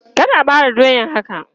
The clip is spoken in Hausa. Kar a bare doyan haka!